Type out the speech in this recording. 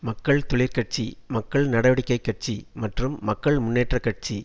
மக்கள் தொழிற்கட்சி மக்கள் நடவடிக்கை கட்சி மற்றும் மக்கள் முன்னேற்ற கட்சி